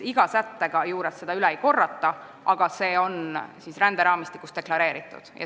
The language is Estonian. Iga sätte juures seda üle ei korrata, aga see on ränderaamistikus deklareeritud.